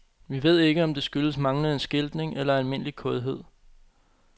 Vi ved ikke, om det skyldes manglende skiltning eller almindelig kådhed.